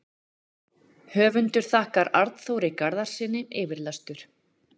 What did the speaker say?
Höfundur þakkar Arnþóri Garðarssyni yfirlestur.